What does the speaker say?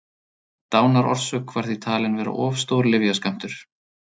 Dánarorsök var því talin vera of stór lyfjaskammtur.